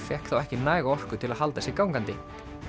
fékk þá ekki næga orku til að halda sér gangandi